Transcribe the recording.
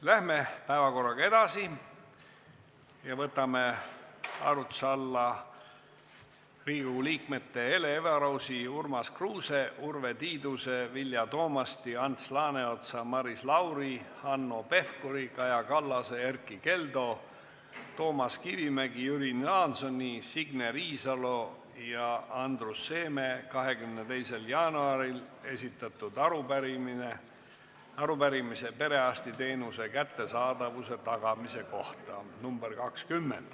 Läheme päevakorraga edasi ja võtame arutuse alla Riigikogu liikmete Hele Everausi, Urmas Kruuse, Urve Tiiduse, Vilja Toomasti, Ants Laaneotsa, Maris Lauri, Hanno Pevkuri, Kaja Kallase, Erkki Keldo, Toomas Kivimägi, Jüri Jaansoni, Signe Riisalo ja Andrus Seeme 22. jaanuaril esitatud arupärimise perearstiteenuse kättesaadavuse tagamise kohta .